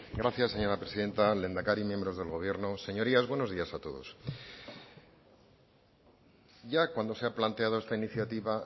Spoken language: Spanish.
gracias señora presidenta lehendakari miembros del gobierno señorías buenos días a todos ya cuando se ha planteado esta iniciativa